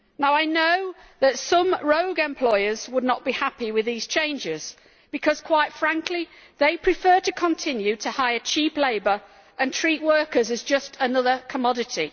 I know that some rogue employers would not be happy with these changes because, quite frankly, they prefer to continue to hire cheap labour and treat workers as just another commodity.